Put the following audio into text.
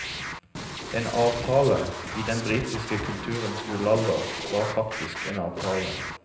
En avtale, i den britiske kulturens gullalder, var faktisk en avtale.